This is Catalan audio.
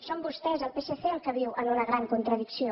són vostès el psc els que viuen en una gran contradicció